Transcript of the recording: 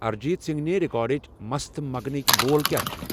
اریجیت سِنگنِہ ریکارڈچ مستہٕ مگنٕکۍ بول کیا چِھ ؟